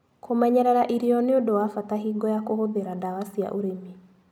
Kũmenyerera irio nĩũndũ wa bata hingo ya kũhũthĩra ndawa cia ũrĩmi.